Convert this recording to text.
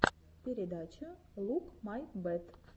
передача лук май бэт